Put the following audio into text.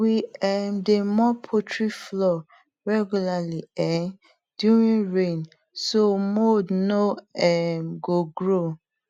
we um dey mop poultry floor regularly um during rain so mould no um go grow